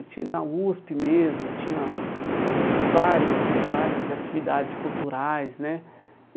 Eu tinha na USP mesmo, eu tinha eh vários várias atividades culturais, né?